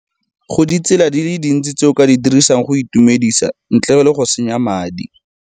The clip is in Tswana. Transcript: Go ditsela di le dintsi tse o ka di dirisang go itumedisa ntle le go senya madi.